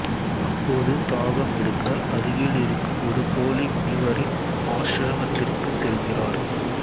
அப்போது தாகம் எடுக்க அருகிலிருக்கும் ஒரு போலி முனிவரின் ஆஷ்ரமத்திற்குச் செல்கிறார்